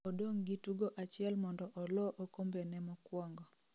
odong' gi tugo achiel mondo oloo okombene mokwongo